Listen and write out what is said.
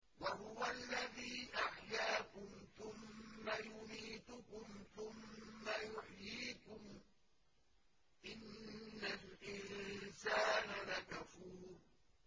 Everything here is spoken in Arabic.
وَهُوَ الَّذِي أَحْيَاكُمْ ثُمَّ يُمِيتُكُمْ ثُمَّ يُحْيِيكُمْ ۗ إِنَّ الْإِنسَانَ لَكَفُورٌ